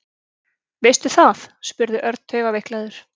Veistu það? spurði Örn taugaveiklaður.